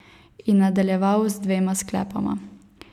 In nadaljeval z dvema sklepoma.